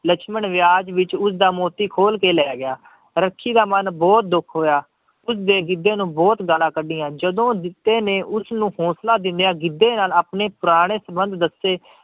ਲਛਮਣ ਵਿਆਜ ਵਿੱਚ ਉਸਦਾ ਮੋਤੀ ਖੋਲ ਕੇ ਲੈ ਗਿਆ, ਰੱਖੀ ਦਾ ਮਨ ਬਹੁਤ ਦੁੱਖ ਹੋਇਆ ਉਸਦੇ ਗਿੱਧੇ ਨੂੰ ਬਹੁਤ ਗਾਲਾਂ ਕੱਢੀਆਂ, ਜਦੋਂ ਜਿੱਤੇ ਨੇ ਉਸਨੂੰ ਹੌਂਸਲਾ ਦਿੰਦਿਆਂ ਗਿੱਧੇ ਨਾਲ ਆਪਣੇ ਪੁਰਾਣੇ ਸੰਬੰਧ ਦੱਸੇ,